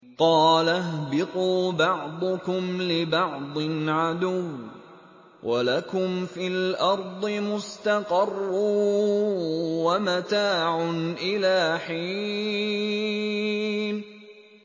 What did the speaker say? قَالَ اهْبِطُوا بَعْضُكُمْ لِبَعْضٍ عَدُوٌّ ۖ وَلَكُمْ فِي الْأَرْضِ مُسْتَقَرٌّ وَمَتَاعٌ إِلَىٰ حِينٍ